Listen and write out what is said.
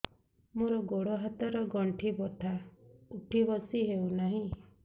ମୋର ଗୋଡ଼ ହାତ ର ଗଣ୍ଠି ବଥା ଉଠି ବସି ହେଉନାହିଁ